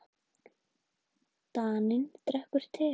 Daninn drekkur te.